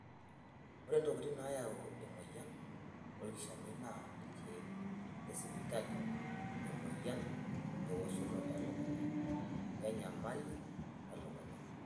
Ore ntokitin naayau emoyian olkishamiet naa ilkeek lesipitali, emoyian, ewoshoto elukunya wenyamali olelukunya.